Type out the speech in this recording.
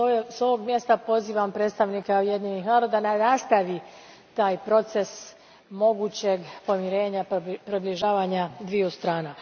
S ovog mjesta pozivam predstavnika Ujedinjenih naroda da nastavi taj proces mogućeg pomirenja, približavanja dviju strana.